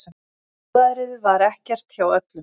Góðærið var ekkert hjá öllum.